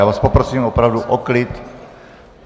Já vás poprosím opravdu o klid.